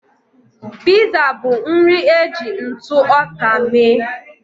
Piza bụ nri e ji ntụ ọka mee